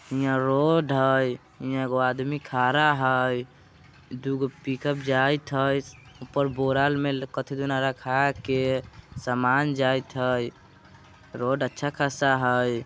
हियाँ रोड हइ। हियाँ एगो पर आदमी खड़ा हइ। दुगो पिकअप जाइत हइ। ऊपर बोड़ा में कथी दूना रखा के सामान जाइत हइ। रोड अच्छा खासा हइ।